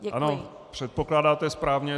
Ano, předpokládáte správně.